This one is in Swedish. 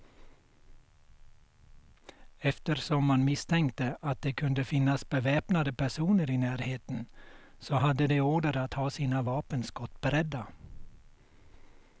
Eftersom man misstänkte att det kunde finnas beväpnade personer i närheten, så hade de order att ha sina vapen skottberedda.